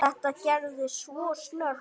Þetta gerðist svo snöggt.